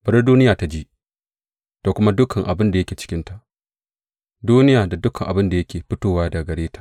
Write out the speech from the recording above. Bari duniya ta ji, da kuma dukan abin da yake cikinta, duniya, da dukan abin da yake fitowa daga gare ta!